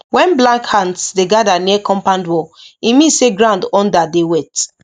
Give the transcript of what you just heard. when black ants dey gather near compound wall e mean say ground under dey wet